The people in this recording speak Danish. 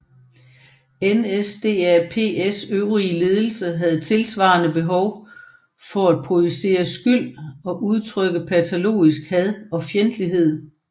NSDAPs øvrige ledelse havde tilsvarende behov for at projicere skyld og udtrykke patologisk had og fjendtlighed